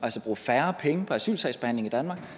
bruge færre penge på asylsagsbehandling i danmark